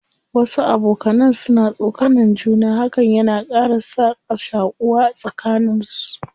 Wasu abokanan suna tsokanan juna, hakan yana ƙara sa ka shaƙuwa a tsakanin su.